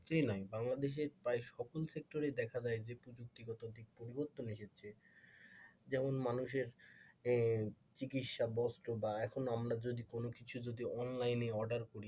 বাংলাদেশের প্রায় সকল sector দেখা যায় যে প্রযুক্তিগত দিকের পরিবর্তন এসেছে যেমন মানুষের চিকিৎসা, বস্ত্র বা এখন আমরা যদি কোনো কিছু যদি অনলাইনে অর্ডার করি ,